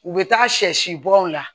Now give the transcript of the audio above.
U bɛ taa sɛ si bɔn na